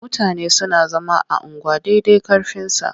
Mutane suna zama a unguwa dai dai ƙarfinsa.